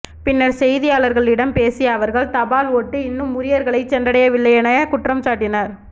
பின்னர் செய்தியாளர்களிட்ம பேசிய அவர்கள் தபால் ஓட்டு இன்னும் உரியர்களை சென்றடையவில்லை என குற்றம்சாட்டினர்